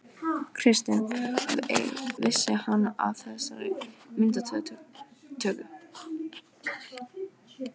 Kristinn: Vissi hann af þessi myndatöku?